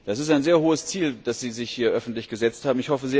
Das ist ein sehr hohes Ziel, das Sie sich hier öffentlich gesetzt haben!